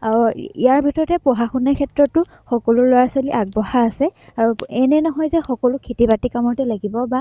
আহ ইয়াৰ ভিতৰতে পঢ়া-শুনাৰ ক্ষেত্ৰটো সকলো লৰা-ছোৱালী আগবঢ়া আছে আৰু এনে নহয় যে সকলো খেতি বাতিৰ কামতে লাগিব বা